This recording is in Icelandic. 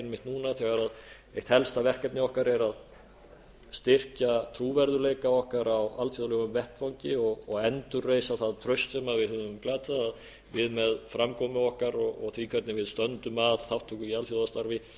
einmitt núna þegar eitt helsta verkefni okkar er að styrkja trúverðugleika okkar á alþjóðlegum vettvangi og endurreisa það traust sem við höfum glatað að við með framkomu okkar og því hvernig við stöndum að þátttöku í alþjóðastarfi